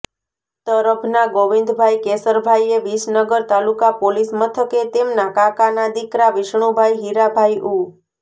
તરભના ગોવિંદભાઈ કેશરભાઈએ વિસનગર તાલુકા પોલીસ મથકે તેમના કાકાના દિકરા વિષ્ણુભાઈ હીરાભાઈ ઉ